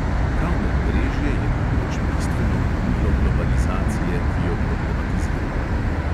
Prav medmrežje je namreč bistveno gonilo globalizacije, ki jo problematiziramo.